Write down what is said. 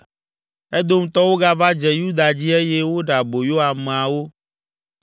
Edomtɔwo gava dze Yuda dzi eye woɖe aboyo ameawo